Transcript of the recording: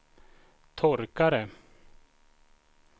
torkare